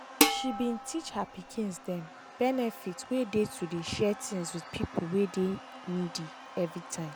she bin teach her pikins dem benefit wey dey to dey share things with pipo wey dey needy everytime.